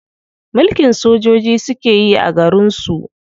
Mulkin sojoji suke yi a garin su.